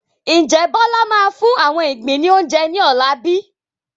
Ǹjẹ́ Bọlá máa fún àwọn igbin ni oúnjẹ ní ọ̀la bíi?